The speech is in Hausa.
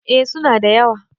eh suna da yawa